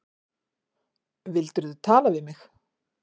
Vildirðu tala við mig?